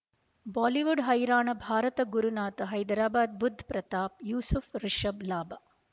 Bollywood ಹೈರಾಣ ಭಾರತ ಗುರುನಾಥ ಹೈದರಾಬಾದ್ ಬುಧ್ ಪ್ರತಾಪ್ ಯೂಸುಫ್ ರಿಷಬ್ ಲಾಭ